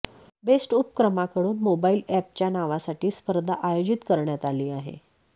best उपक्रमाकडून mobile अॅपच्या नावासाठी स्पर्धा आयोजित करण्यात आली आहे